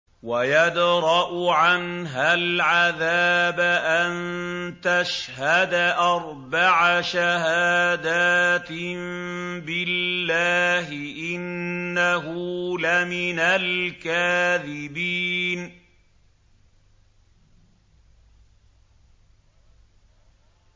وَيَدْرَأُ عَنْهَا الْعَذَابَ أَن تَشْهَدَ أَرْبَعَ شَهَادَاتٍ بِاللَّهِ ۙ إِنَّهُ لَمِنَ الْكَاذِبِينَ